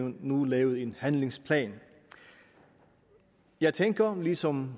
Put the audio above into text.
nu lavet en handlingsplan jeg tænker ligesom